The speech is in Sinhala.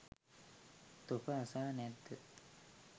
තොප අසා නැද්ද?